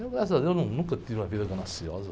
Eu, graças a Deus, num, nunca tive uma vida gananciosa.